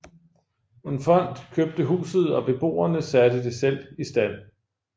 En fond købte huset og beboerne satte det selv i stand